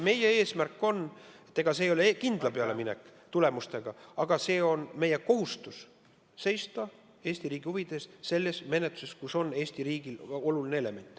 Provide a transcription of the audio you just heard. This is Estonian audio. Meie eesmärk on – see ei ole kindla peale minek, kindlate tulemuste saavutamine – kohustus seista Eesti riigi huvide eest selles menetluses, milles on Eesti riigile oluline element.